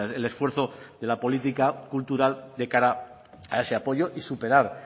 el esfuerzo de la política cultural de cara a ese apoyo y superar